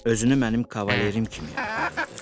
Özünü mənim kavaleri kimi aparırdı.